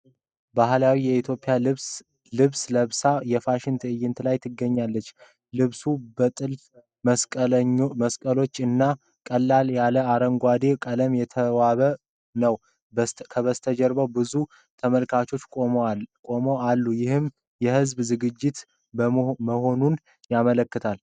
ባህላዊ የኢትዮጵያ ልብስ ለብሳ የፋሽን ትዕይንት ላይ ትገኛለች ። ልብሱ በጥልፍ መስቀሎች እና ቀለል ያለ አረንጓዴ ቀለም የተዋበ ነው ። በስተጀርባ ብዙ ተመልካቾች ቆመው አሉ ይህም የህዝብ ዝግጅት መሆኑን ያመላክታል።